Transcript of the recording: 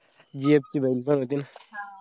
एक ती बहीण पण होती ना